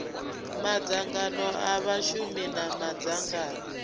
madzangano a vhashumi na madzangano